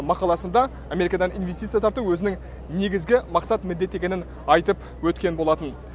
мақаласында америкадан инвестиция тарту өзінің негізгі мақсат міндеті екенін айтып өткен болатын